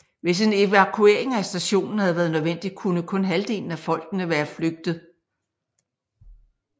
Hvis en evakuering af stationen havde været nødvendig kunne kun halvdelen af folkene være flygte